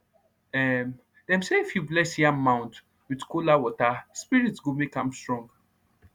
um dem say if you bless yam mound with kola water spirit go make am strong